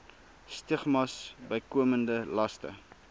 stigmas bykomende laste